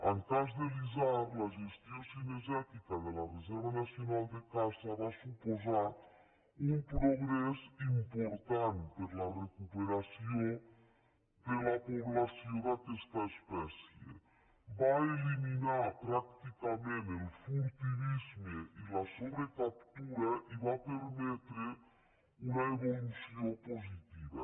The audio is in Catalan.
en el cas de l’isard la gestió cinegètica de la re·serva nacional de caça va suposar un progrés important per a la recuperació de la població d’aquesta espècie va eliminar pràcticament el furtivisme i la sobrecaptura i va permetre una evolució positiva